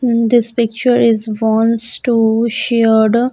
Hmm this picture is wants to shared.